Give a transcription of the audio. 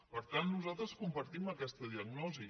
per tant nosaltres compartim aquesta diagnosi